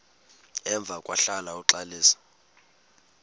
emva kwahlala uxalisa